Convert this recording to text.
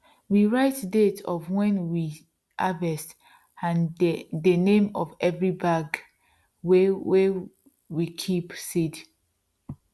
we write date of wen we harvest and dey name for every bag wey wey we kip seeds